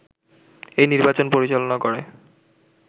এই নির্বাচন পরিচালনা করে